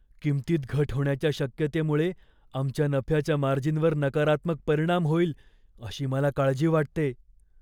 किंमतीत घट होण्याच्या शक्यतेमुळे आमच्या नफ्याच्या मार्जिनवर नकारात्मक परिणाम होईल अशी मला काळजी वाटते.